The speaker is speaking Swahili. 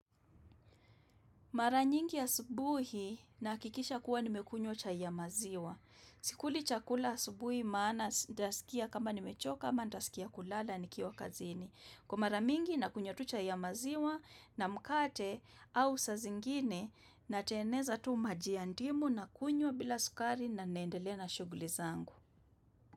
Maranyingi asubuhi naha kikisha kuwa nimekunywa chai ya maziwa. Sikuli chakula asubuhi maana sjasikia kama nimechoka kama ndasikia kulala ni kiwa kazini. Kwa mara mingi na kunywa tu chai ya maziwa na mkate au sa zingine na teneza tu maji ya ndimu na kunywa bila sukari na naendele na shuguli zangu.